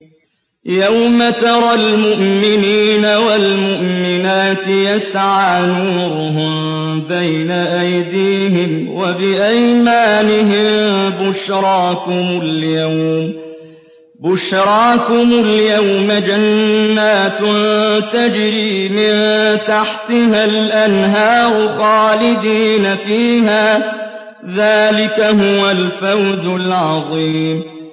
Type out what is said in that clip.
يَوْمَ تَرَى الْمُؤْمِنِينَ وَالْمُؤْمِنَاتِ يَسْعَىٰ نُورُهُم بَيْنَ أَيْدِيهِمْ وَبِأَيْمَانِهِم بُشْرَاكُمُ الْيَوْمَ جَنَّاتٌ تَجْرِي مِن تَحْتِهَا الْأَنْهَارُ خَالِدِينَ فِيهَا ۚ ذَٰلِكَ هُوَ الْفَوْزُ الْعَظِيمُ